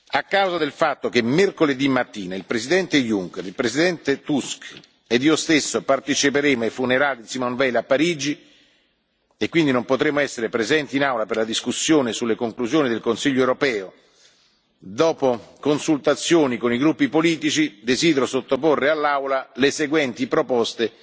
A causa del fatto che mercoledì mattina il Presidente Juncker, il Presidente Tusk e io stesso parteciperemo ai funerali di Simone Veil a Parigi e quindi non potremo essere presenti in Aula per la discussione sulle conclusioni del Consiglio europeo, dopo consultazioni con i gruppi politici desidero sottoporre all'Aula le seguenti proposte